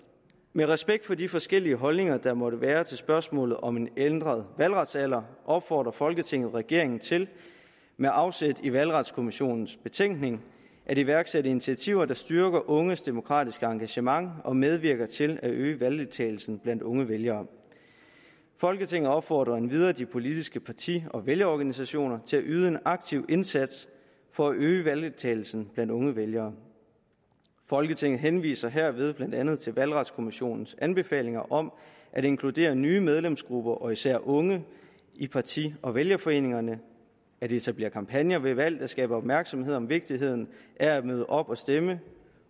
med respekt for de forskellige holdninger der måtte være til spørgsmålet om en ændret valgretsalder opfordrer folketinget regeringen til med afsæt i valgretskommissionens betænkning at iværksætte initiativer der styrker unges demokratiske engagement og medvirker til at øge valgdeltagelsen blandt unge vælgere folketinget opfordrer endvidere de politiske parti og vælgerorganisationer til at yde en aktiv indsats for at øge valgdeltagelsen blandt unge vælgere folketinget henviser herved blandt andet til valgretskommissionens anbefalinger om at inkludere nye medlemsgrupper og især unge i parti og vælgerforeningerne at etablere kampagner ved valg der skaber opmærksomhed om vigtigheden af at møde op og stemme